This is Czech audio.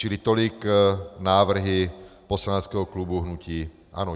Čili tolik návrhy poslaneckého klubu hnutí ANO.